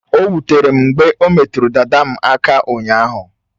O wutere m mgbe o metụrụ dada m aka ụnyaahụ.